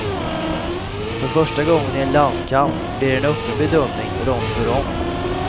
För första gången i en landskamp blir det en öppen bedömning rond för rond.